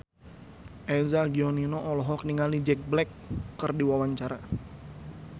Eza Gionino olohok ningali Jack Black keur diwawancara